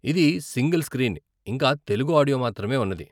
ఇది single screen, ఇంకా Telugu audio మాత్రమే ఉన్నది.